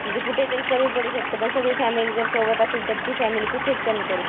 म्हणजे कुठेतरी कमी पडू शकतो पण सगळे फॅमिली जर सोबत असेल तर ती फॅमिली कुठेच कमी पडू शकत नाही.